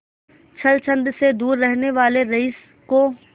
छल छंद से दूर रहने वाले रईस को